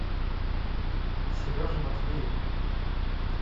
сереже матвееву